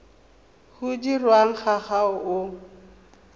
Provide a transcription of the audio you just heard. o dirwang ga o a